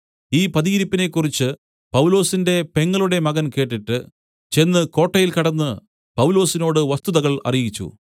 ഈ പതിയിരിപ്പിനെക്കുറിച്ച് പൗലൊസിന്റെ പെങ്ങളുടെ മകൻ കേട്ടിട്ട് ചെന്ന് കോട്ടയിൽ കടന്ന് പൗലൊസിനോട് വസ്തുതകൾ അറിയിച്ചു